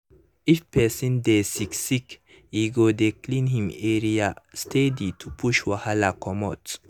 if person dey sick sick e go dey clean him area steady to push wahala comot.